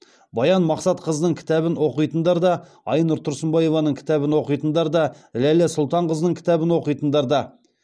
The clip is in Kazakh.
баян мақсатқызының кітабын оқитындар да айнұр тұрсынбаеваның кітабын оқитындар да ләйлә сұлтанқызының кітабын оқитындар да